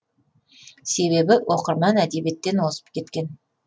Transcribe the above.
себебі оқырман әдебиеттен озып кеткен